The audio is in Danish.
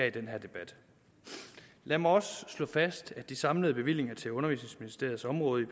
i denne debat lad mig også slå fast at de samlede bevillinger til undervisningsministeriets område i